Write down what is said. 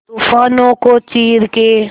तूफानों को चीर के